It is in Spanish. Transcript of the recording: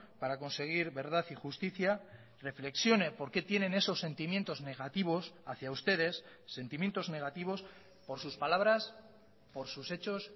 para conseguir verdad y justicia reflexione por qué tienen esos sentimientos negativos hacía ustedes sentimientos negativos por sus palabras por sus hechos